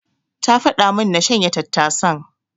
Ta faɗa min na shanya tattasan.